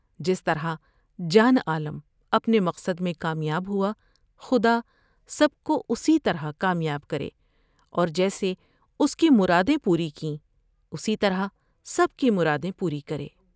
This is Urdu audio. جس طرح جان عالم اپنے مقصد میں کامیاب ہوا خدا سب کو اسی طرح کامیاب کرے اور جیسے اس کی مرادیں پوری کیں ، اسی طرح سب کی مراد یں پوری کرے ۔